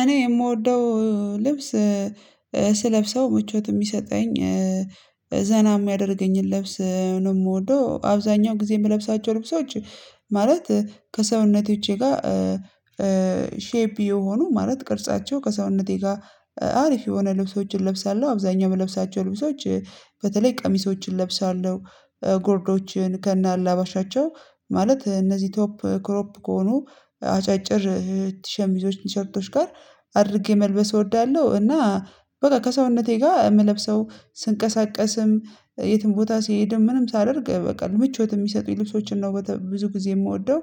እኔ የምወደው ልብስ ስለብሰው ምቾት የሚሰጠኝ፤ ዘና የሚያደርገኝን ለብስ ነው የምወደው። አብዛኛው ጊዜ የምለብሳቸው ልብሶች ማለት ከሰውነቶቼ ጋር ሼፕ የሆኑ ማለት ቅርጻቸው ከሰውነቴ ጋር አሪፍ የሆነ ልብሶችን እለብሳለሁ። አብዛኛው የምለብሳቸው ልብሶች በተለይ ቀሚሶችን እለብሳለሁ፤ ጎርዶችን ከነአላባሻቸው ማለት፤ እነዚህ ቶፕ ክሮፕ ከሆኑ አጫጭር ቲሸሚዞች፤ ቲሸርቶች ጋር አድርጌ መልበስ እወዳለሁ። እና በቃ ከሰውነቴ ጋር የምለብሰው ስንቀሳቀስም የትም ቦታ ሲሄድም ምንም ሳደርግ በቃ ምቾት የሚሰጡኝ ልብሶችን ነው ብዙ ጊዜ የምወደው።